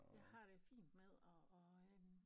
Jeg har det fint med at at øh